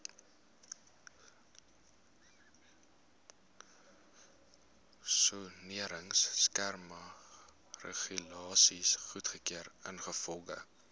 soneringskemaregulasies goedgekeur ingevolge